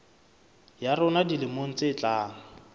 ya rona dilemong tse tlang